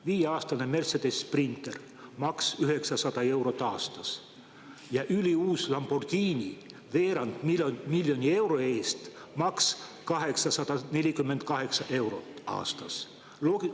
Viieaastane Mercedes Sprinter, maks 900 eurot aastas, ja üliuus Lamborghini veerand miljoni euro eest, maks 848 eurot aastas.